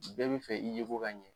Bɛɛ bi fɛ i ye ko ka ɲɛn.